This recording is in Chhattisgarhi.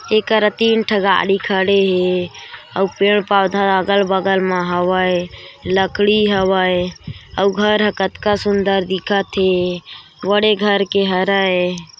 एकरा तीन ठा गाड़ी खड़े हे अउ पेड़-पौधा अगल-बगल मा हवय लकड़ी हवय अउ घर हा कतका सुन्दर दिखत हे बड़े घर के हे।